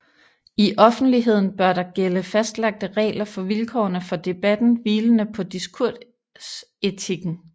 I offentligheden bør der gælde fastlagte regler for vilkårene for debatten hvilende på diskursetikken